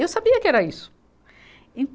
Eu sabia que era isso. E